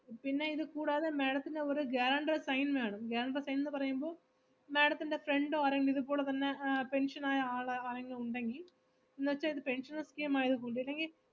പിന്നെ ഇത് കൂടാതെ madam ത്തിന് ഒരു guarantor എ sign വേണം guarantor എ sign ന്ന് പറയുമ്പോ madam ത്തിൻ്റെ friend ഓ ആരെങ്കിലും ഇതുപോലെ തന്നെ ആഹ് pension ആയ ആൾ ആരെങ്കിലും ഉണ്ടെങ്കി എന്നുവെച്ചാ ഇത് pensional scheme ആയതുകൊണ്ട് ഇല്ലെങ്കി